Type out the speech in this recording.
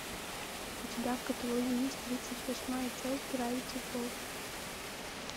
у тебя в каталоге есть тридцать восьмая часть гравити фолз